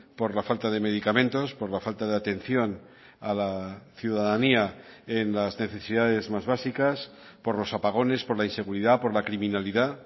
por la falta de medicamentos por la falta de atención a la ciudadanía en las necesidades más básicas por los apagones por la inseguridad por la criminalidad